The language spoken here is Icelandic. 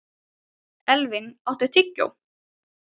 Elvin, áttu tyggjó?